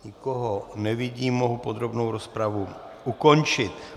Nikoho nevidím, mohu podrobnou rozpravu ukončit.